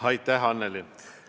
Aitäh, Annely!